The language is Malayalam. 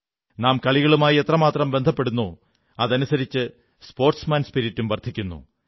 നാം കളികളുമായി എത്രമാത്രം ബന്ധപ്പെടുന്നോ അതനുസരിച്ച് സ്പോർട്സ്മാൻ സ്പിരിറ്റും വർധിക്കുന്നു